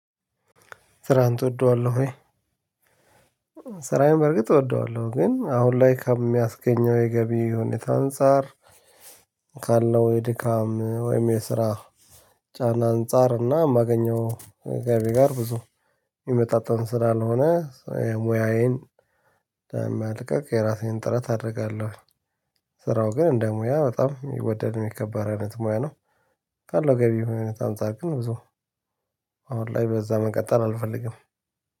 ስራህን ትወደዋለሁ ወይ? ስራዬን በርግጥ እወደዋለሁ ግን አሁን ላይ ከሚያስገኘው የገቢ ሁኔታ አንፃር ካለው የድካም ወይም የስራ ጫና አንፃር እና ማገኘው ገቢ ጋር ብዙ የሚመጣጠን ስራ ለሆነ ሙያዬን መልቀቅ የራሴን ጥረት አደርጋለሁ። ስራው ግን እንደ ሙያ በጣም የሚወደድ የሚከበር አይነት ሙያ ነው ካለው ገቢው አይነት አንፃር ግን ብዙ አሁን ላይ በዛ መቀጠል አልፈልግም